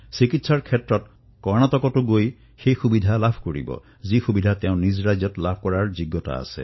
অৰ্থাৎ বিহাৰৰ এজন ৰোগীয়ে কৰ্ণাটকতো চিকিৎসা লাভ কৰিব পাৰে